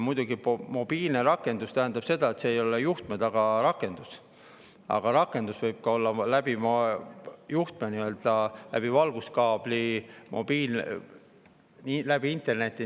Muidugi, mobiilne rakendus tähendab seda, et see ei ole juhtme taga olev rakendus, rakendus võib ka olla läbi valguskaabli, läbi interneti.